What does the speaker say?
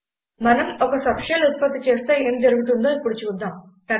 మనం ఒక సబ్షెల్ ఉత్పత్తి చేస్తే ఏం జరుగుతుందో ఇప్పుడు చూద్దాం